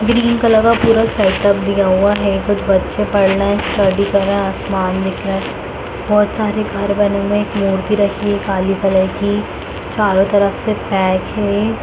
Green colour का पूरा setup दिया हुआ है कुछ बच्‍चे पढ़ रहे हैं स्टडी कर रहा आसमान में दिख रहा है बहुत सारे घर बने हुए हैं एक मूर्ति रखी है काली कलर की चारों तरफ से पैक है।